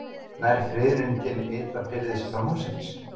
Nær friðunin til ytra byrðis framhússins